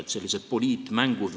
– sellised poliitmängud.